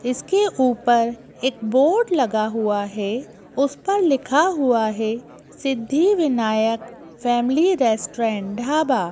इसके ऊपर एक बोर्ड लगा हुआ है उस पर लिखा हुआ है सिद्धि विनायक फैमिली रेस्ट्रेंड ढाबा --